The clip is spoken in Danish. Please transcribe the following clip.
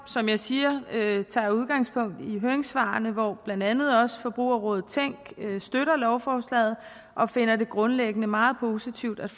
som jeg siger udgangspunkt i høringssvarene hvor blandt andet også forbrugerrådet tænk støtter lovforslaget og finder det grundlæggende meget positivt at